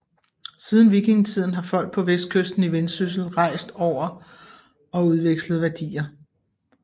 Siden vikingetiden har folk på vestkysten i Vendsyssel rejst over og udvekslet værdier